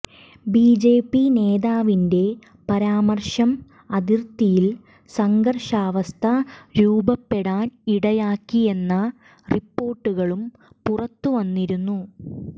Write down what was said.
BJP നേതാവിന്റെ പരാമർശം അതിർത്തിയിൽ സംഘർഷാവസ്ഥ രൂപപ്പെടാൻ ഇടയാക്കിയെന്ന റിപ്പോർട്ടുകളും പുറത്തുവന്നിരുന്നു